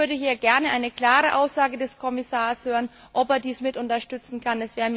Ich würde hier gern eine klare Aussage des Kommissars hören, ob er dies mit unterstützen kann.